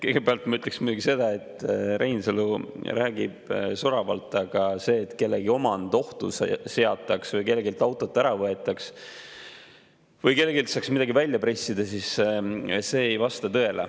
Kõigepealt ma ütleksin muidugi seda, et Reinsalu räägib soravalt, aga see, et kellegi omand ohtu seatakse või kelleltki auto ära võetakse või kelleltki saaks midagi välja pressida, ei vasta tõele.